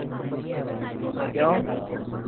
ਕਿਉ